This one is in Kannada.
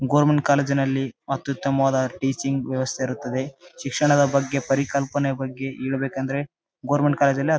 ಗೌರ್ಮೆಂಟ್ ಕಾಲೇಜಿ ನಲ್ಲಿ ಅತ್ಯುತ್ತಮವಾದ ಟೀಚಿಂಗ್ ವ್ಯವಸ್ಥೆ ಇರುತದ್ದೆ ಶಿಕ್ಷಣದ ಬಗ್ಗೆ ಪರಿಕಲ್ಪನೆ ಬಗ್ಗೆ ಹೇಳ್ಬೇಕಂದರೆ ಗೌರ್ಮೆಂಟ್ ಕಾಲೇಜು ಲ್ಲಿ--